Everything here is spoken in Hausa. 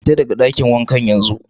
Fita daga dakin wankan yanzun!